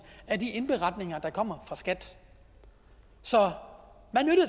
af de indberetninger der kommer fra skat så